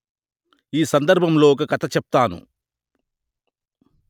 ఈ సందర్భంలో ఒక కథ చెప్తాను